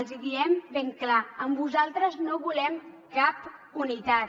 els hi diem ben clar amb vosaltres no volem cap unitat